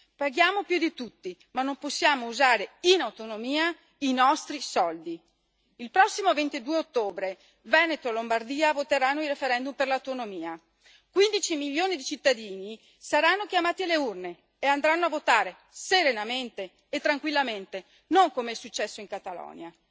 Paghiamo più di tutti ma non possiamo usare in autonomia i nostri soldi. Il prossimo 22 ottobre il Veneto e la Lombardia voteranno nel referendum per l'autonomia quindici milioni di cittadini saranno chiamati alle urne e andranno a votare, serenamente e tranquillamente, non come è successo in Catalogna.